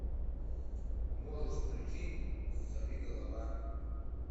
можешь включить сорви голова